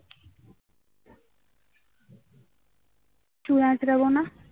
চুল আঁচড়াব না